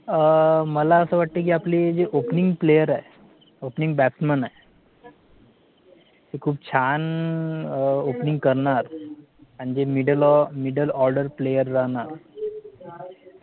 मला असं वाटते कि आपले जे OPENING PLAYER आहेत, जे OPENING batsman आहेत ते खूप छान OPENING करणार आणि जे MIDDLE MIDDLE ORDER PLAYER राहणार